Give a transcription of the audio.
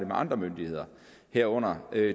med andre myndigheder herunder